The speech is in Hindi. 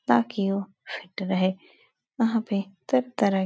ताकि वो फिट रहें। वहाँ पे सब तरह --